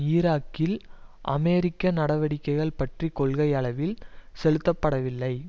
ஈராக்கில் அமெரிக்க நடவடிக்கைகள் பற்றி கொள்கை அளவில் செலுத்த படவில்லை